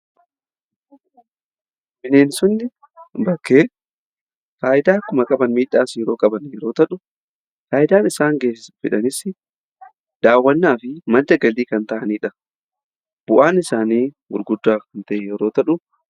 Bineensonni bakkee faayidaa akkuma qaban miidhaas yeroo qaban yeroo ta'u, faayidaan isaan fidanis daawwannaa fi madda galii kan ta'aniidha. Bu'aan isaanii gurguddaa kan ta'e yeroo ta'u.